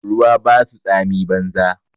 Ruwa ba su tsami banza